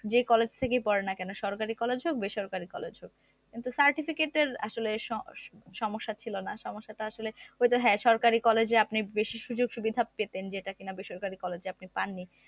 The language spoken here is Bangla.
যে কলেজ থেকে পড়েন না কেন সেটা সরকারি college হোক বা বেসরকারি college হোক কিন্তু certificate এর আসলে স~সমস্যা ছিল না সমস্যাটা আসলে ঐতো হ্যা সরকারি college এ আপনি বেশি সুযোগ-সুবিধা পেতেন যেটা কিনা বেসরকারি college এ আপনি পাননি